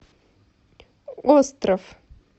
остров